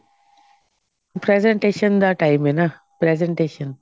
presentation ਦਾ time ਹੈ ਨਾ presentation